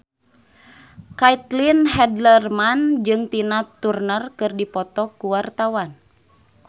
Caitlin Halderman jeung Tina Turner keur dipoto ku wartawan